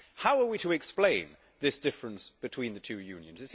How are we to explain this difference between the two Unions?